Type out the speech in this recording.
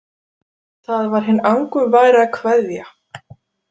Það var hin angurværa „Kveðja“.